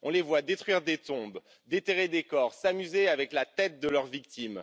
On les voit détruire des tombes, déterrer des corps, s'amuser avec la tête de leur victime.